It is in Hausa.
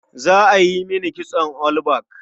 Za a yi mini kitson all back.